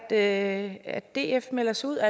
at df melder sig ud af